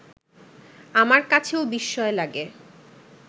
আমার কাছেও বিস্ময় লাগে